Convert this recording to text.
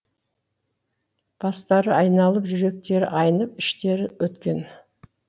бастары айналып жүректері айнып іштері өткен